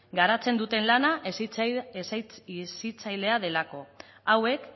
garatzen duten lana hezitzailea delako hauek